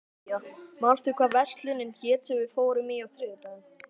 Marja, manstu hvað verslunin hét sem við fórum í á þriðjudaginn?